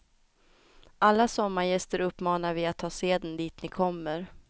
Alla sommargäster uppmanar vi att ta seden dit ni kommer.